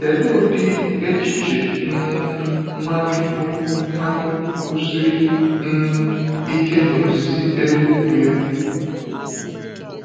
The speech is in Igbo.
Kedu ụdị echiche um Nwachukwu Nwachukwu kwusiri um ike na Ozizi Elu Ugwu ya?